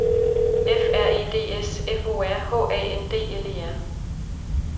F R E D S F O R H A N D L E R